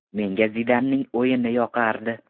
Menga Zidanning o‘yini yoqardi.